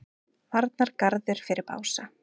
Varnargarður fyrir Bása